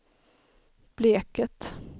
Bleket